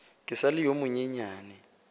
ke sa le yo monyenyane